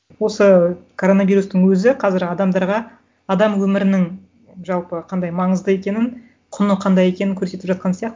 осы коронавирустың өзі қазір адамдарға адам өмірінің жалпы қандай маңызды екенін құны қандай екенін көрсетіп жатқан сияқты